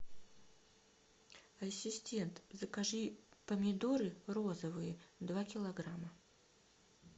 ассистент закажи помидоры розовые два килограмма